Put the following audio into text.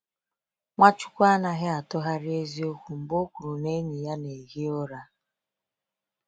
Nwachukwu anaghị atụgharị eziokwu mgbe o kwuru na enyi ya na-ehi ụra.